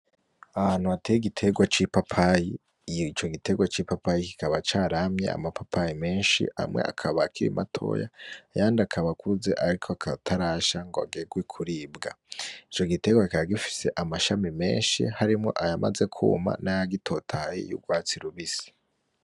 Ahantu hateye igiterwa c,ipapayi ico giterwa kikaba caramye amapapayi menshi amwe akaba akiri matoya ayandi akaba akuze ariko ataragegwa kuribwa ico giterwa kikaba gifise amashami menshi harimwo ayamaze kuma nayandi agitotahaye yurwatsi rubisi .